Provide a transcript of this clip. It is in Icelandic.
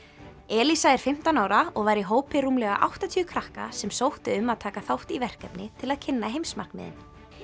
elíza er fimmtán ára og var í hópi rúmlega áttatíu krakka sem sóttu um að taka þátt í verkefni til að kynna heimsmarkmiðin